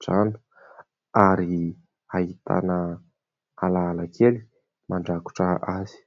trano ary ahitana alaala kely mandrakotra azy.